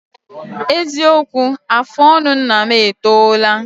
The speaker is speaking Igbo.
Eziokwu, afụ ọnụ nna m etoola